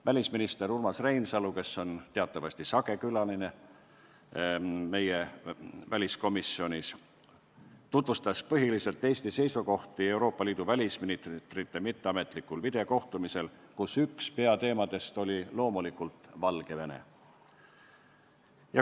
Välisminister Urmas Reinsalu, kes teatavasti on meie väliskomisjoni sage külaline, tutvustas põhiliselt Eesti seisukohti Euroopa Liidu välisministrite mitteametlikul videokohtumisel, kus üks peateemasid oli loomulikult Valgevene.